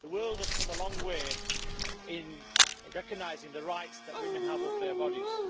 The world has come a long way in recognising the rights that women have over their bodies.